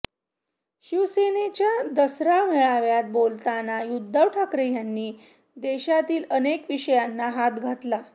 शिवसेनेच्या दसरा मेळाव्यात बोलताना उद्धव ठाकरे यांनी देशातील अनेक विषयांना हात घातला